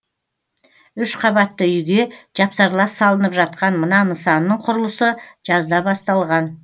үш қабатты үйге жапсарлас салынып жатқан мына нысанның құрылысы жазда басталған